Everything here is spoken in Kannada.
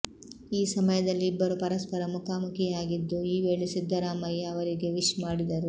ಈಸಮಯದಲ್ಲಿ ಇಬ್ಬರು ಪರಸ್ಪರ ಮುಖಾಮುಖಿಯಾಗಿದ್ದು ಈ ವೇಳೆ ಸಿದ್ದರಾಮಯ್ಯ ಅವರಿಗೆ ವಿಶ್ ಮಾಡಿದರು